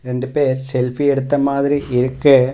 ரெண்டு பேர் செல்ஃபி எடுத்த மாதிரி இருக்கு.